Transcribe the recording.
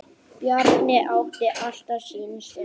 Bjarni átti alltaf sína stund.